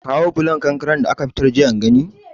Kawo bulon konkaren da aka fitar jiya in gani